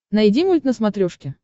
найди мульт на смотрешке